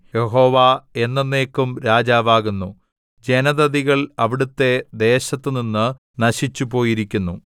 യഹോവ എന്നെന്നേക്കും രാജാവാകുന്നു ജനതതികൾ അവിടുത്തെ ദേശത്തുനിന്ന് നശിച്ചുപോയിരിക്കുന്നു